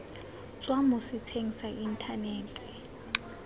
tswa mo setsheng sa inthanete